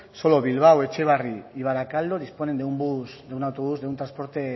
solo bilbao etxebarri y barakaldo disponen de un autobús de un transporte